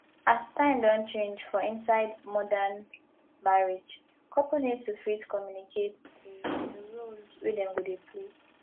as time don change for inside modern marriage couple need to fit communicate di di roles wey dem go dey play